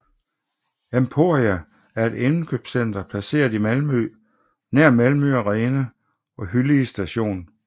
Emporia er et indkøbscenter placeret i Malmø nær Malmö Arena og Hyllie Station